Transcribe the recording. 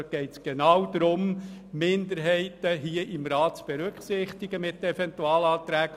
Dort geht es genau darum, Minderheiten im Rat mit Eventualanträgen zu berücksichtigen.